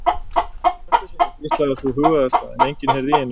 Appelsínur? hvíslaði sú hugaðasta en enginn heyrði í henni.